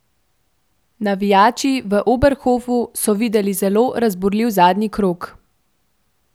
Navijači v Oberhofu so videli zelo razburljiv zadnji krog.